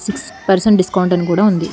Six percent discount అని కూడ ఉంది.